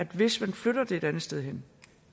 hvis man flytter det et andet sted hen